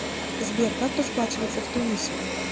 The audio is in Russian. сбер как расплачиваться в тунисе